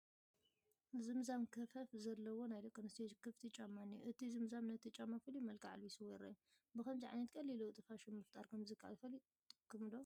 ዝምዛም ክፈፍ ዘለዎ ናይ ደቂ ኣንስቲዮ ክፍቲ ጫማ እኒሆ፡፡ እዚ ዝምዛም ነቲ ጫማ ፍሉይ መልክዕ ኣልቢስዎ ይርአ፡፡ ብኸምዚ ዓይነት ቀሊል ለውጢ ፋሽን ምፍጣር ከምዝከኣል ፈሊጥኩም ዶ?